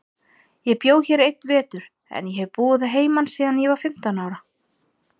Ég bjó hér einn vetur, en hef búið að heiman síðan ég var fimmtán ára.